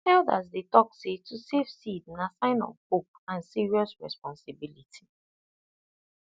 elders dey talk say to save seed na sign of hope and serious responsibility